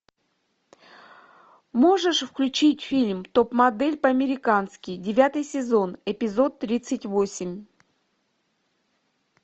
можешь включить фильм топ модель по американски девятый сезон эпизод тридцать восемь